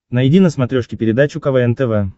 найди на смотрешке передачу квн тв